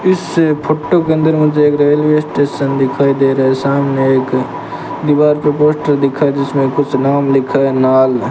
इससे फोटो के अंदर मुझे एक रेलवे स्टेशन दिखाई दे रहा है सामने एक दीवार पर पोस्टर दिखा जिसमें कुछ नाम लिखा है नाल --